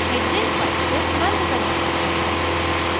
hexane file को बंद करें